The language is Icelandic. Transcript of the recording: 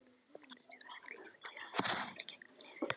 Bílstjórinn fitlar við gleraugun og dæsir í gegnum nefið.